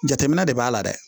Jateminɛ de b'a la dɛ